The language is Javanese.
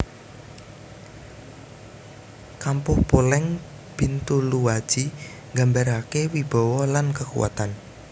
Kampuh Poleng Bintuluaji nggambarake wibawa lan kekuatan